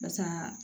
Barisa